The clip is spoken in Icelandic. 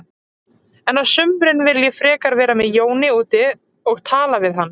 En á sumrin vil ég frekar vera með Jóni úti og tala við hann.